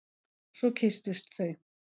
Svo kysstust þau.